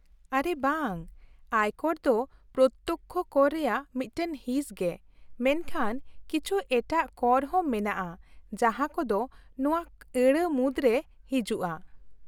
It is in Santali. -ᱟᱨᱮ ᱵᱟᱝ, ᱟᱭᱠᱚᱨ ᱫᱚ ᱯᱨᱚᱛᱛᱚᱠᱠᱷᱚ ᱠᱚᱨ ᱨᱮᱭᱟᱜ ᱢᱤᱫᱴᱟᱝ ᱦᱤᱸᱥ ᱜᱮ, ᱢᱮᱱᱠᱷᱟᱱ ᱠᱤᱪᱷᱩ ᱮᱴᱟᱜ ᱠᱚᱨ ᱦᱚᱸ ᱢᱮᱱᱟᱜᱼᱟ ᱡᱟᱦᱟᱸ ᱠᱚᱫᱚ ᱱᱚᱶᱟ ᱟᱹᱲᱟᱹ ᱢᱩᱫᱨᱮ ᱦᱤᱡᱩᱜᱼᱟ ᱾